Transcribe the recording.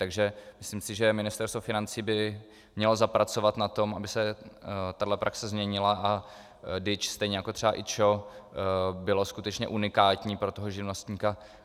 Takže myslím si, že Ministerstvo financí by mělo zapracovat na tom, aby se tahle praxe změnila a DIČ stejně jako třeba IČO bylo skutečně unikátní pro toho živnostníka.